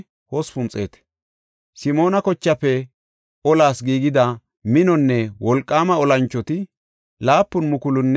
Simoona kochaafe olas giigida minonne wolqaama olanchoti 7,100.